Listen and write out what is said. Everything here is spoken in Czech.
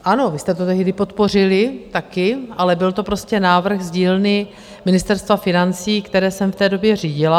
Ano, vy jste to tehdy podpořili také, ale byl to prostě návrh z dílny Ministerstva financí, které jsem v té době řídila.